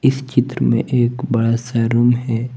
इस चित्र में एक बड़ा सा रूम है।